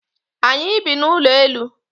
Anyị bi n'ụlọelu.